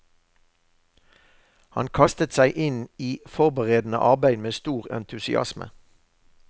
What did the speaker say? Han kastet seg inn i forberedende arbeid med stor entusiasme.